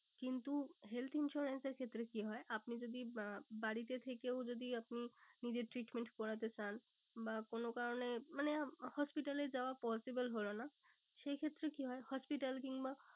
কিন্তু health insurance এর ক্ষেত্রে কি হয় আপনি যদি বাড়িতে থেকেও যদি আপনি নিজের treatment করতে চান। বা কোনো কারণে মানে hospital এ যাওয়া possible হলো না। সে ক্ষেত্রে কি হয় hospital কিংবা